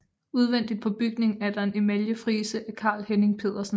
Udvendigt på bygningen er der en emaljefrise af Carl Henning Pedersen